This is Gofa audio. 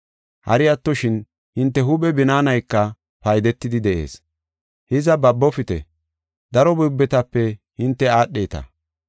Hari attoshin, hinte huuphe binaanayka paydetidi de7ees. Hiza, babofite; daro buubetape hinte aadheta.